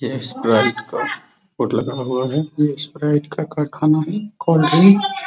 ये स्प्राइट का बोर्ड लगा हुआ है ये स्प्राइट का कारखाना है कोल्ड ड्रिंक --